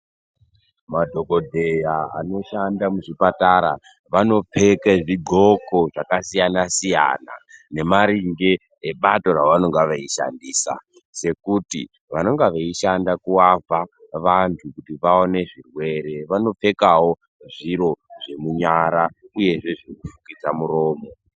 Madhokodheya anoshanda muzvipatara vanopfeka zvidhloko zvakasiyana -siyana nemaringe nebato ravanonga veishandisa sekuti vanonga veishanda kuraoa vantu kuti vaone zvirwere vanopfekawo zviro zvemunyara uyezve zvekufukidza mutombo.